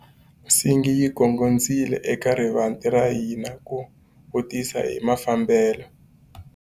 Nsingi yi gongondzile eka rivanti ra hina ku vutisa hi mafambelo.